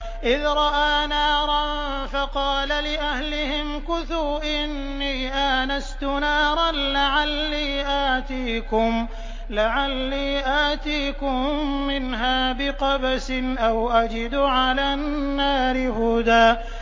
إِذْ رَأَىٰ نَارًا فَقَالَ لِأَهْلِهِ امْكُثُوا إِنِّي آنَسْتُ نَارًا لَّعَلِّي آتِيكُم مِّنْهَا بِقَبَسٍ أَوْ أَجِدُ عَلَى النَّارِ هُدًى